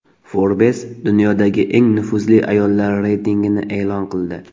Forbes dunyodagi eng nufuzli ayollar reytingini e’lon qildi.